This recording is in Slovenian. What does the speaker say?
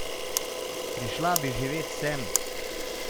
Prišla bi živet sem.